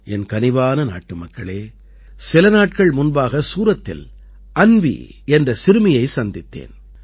என் கனிவான நாட்டுமக்களே சில நாட்கள் முன்பாக சூரத்தில் அன்வீ என்ற சிறுமியைச் சந்தித்தேன்